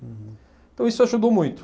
Então, isso ajudou muito.